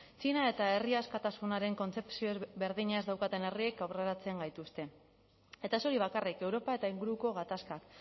txina eta herri askatasunaren kontzepzio berdina ez daukaten herriek aurreratzen gaituzte eta ez hori bakarrik europa eta inguruko gatazkak